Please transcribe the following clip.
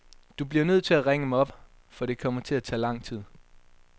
Du bliver nødt til at ringe mig op, for det kommer til at tage lang tid.